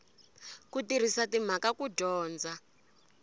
ku tirhisa timhaka ku dyondza